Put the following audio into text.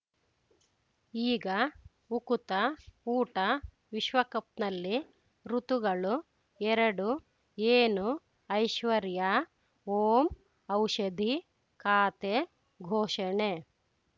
ಈಗ ಉಕುತ ಊಟ ವಿಶ್ವಕಪ್‌ನಲ್ಲಿ ಋತುಗಳು ಎರಡು ಏನು ಐಶ್ವರ್ಯಾ ಓಂ ಔಷಧಿ ಖಾತೆ ಘೋಷಣೆ